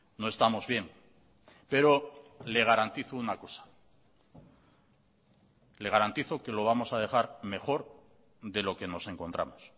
no estamos bien pero le garantizo una cosa le garantizo que lo vamos a dejar mejor de lo que nos encontramos